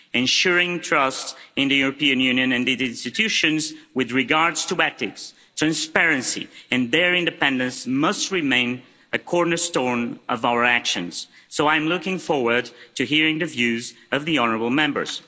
Ensuring trust in the European Union and its institutions with regard to ethics, transparency and their independence must remain a cornerstone of our actions. I'm looking forward to hearing the views of the honourable Members.